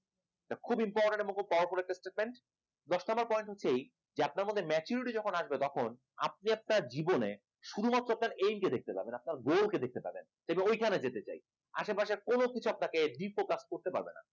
খুবই important এবং খুব powerful statement দশ number point হচ্ছে এই যে আপনার মধ্যে maturity যখন আসবে তখন আপনি আপনার জীবনে শুধুমাত্র আপনার aim কে দেখতে পাবেন আপনার goal কে দেখতে পাবেন এবং ঐখানে যেতে চাই আশেপাশে কোন কিছু আপনাকে de focus করতে পারবে না